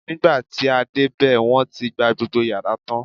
nigba ti a dẹ obe, won ti gba gbogbo yara tan